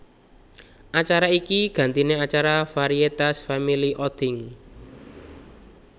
Acara iki gantine acara varietas Family Outing